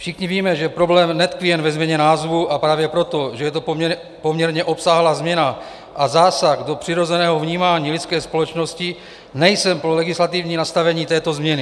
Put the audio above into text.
Všichni víme, že problém netkví jen ve změně názvu, a právě proto, že je to poměrně obsáhlá změna a zásah do přirozeného vnímání lidské společnosti, nejsem pro legislativní nastavení této změny.